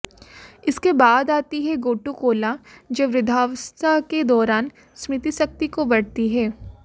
इसके बाद आती है गोटू कोला जो वृद्धावस्था के दौरान स्मृति शक्ति को बढ़ती है